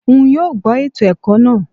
N yoo gbọ eto ẹkọ naa